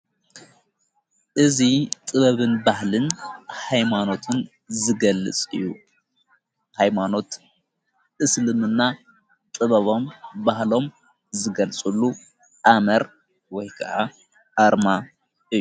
እዙ ጥበብን ባህልን ኃይማኖትን ዝገልጽ እዩ ኃይማኖት እስልምና ጥበቦም ባህሎም ዘገልጹሉ ኣመር ወይ ከዓ ኣርማ እዩ።